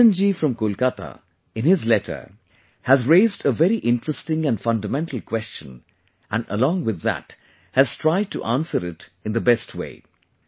Ranjan ji from Kolkata, in his letter, has raised a very interesting and fundamental question and along with that, has tried to answer it in the best way